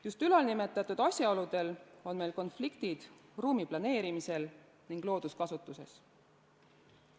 Just nimetatud asjaoludel on meil konfliktid ruumiplaneerimisel ja looduskasutuses.